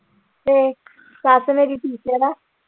ਤੇ ਸੱਸ ਮੇਰੀ teacher ਆ।